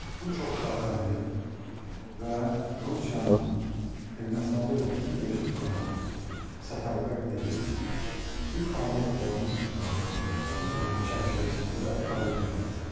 Bu çoxşaxəli və Rusiyanın Ermənistanda olan bütün resurslarını səfərbər edib, bir fəaliyyət planı çərçivəsində fəaliyyətlərdir.